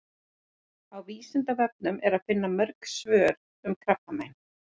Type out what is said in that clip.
Á Vísindavefnum er að finna mörg önnur svör um krabbamein.